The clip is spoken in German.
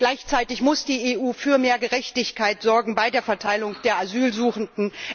Gleichzeitig muss die EU für mehr Gerechtigkeit sorgen bei der Verteilung der Asylsuchenden.